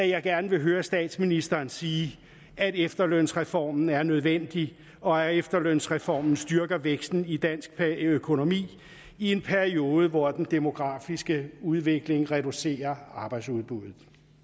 jeg gerne vil høre statsministeren sige at efterlønsreformen er nødvendig og at efterlønsreformen styrker væksten i dansk økonomi i en periode hvor den demografiske udvikling reducerer arbejdsudbuddet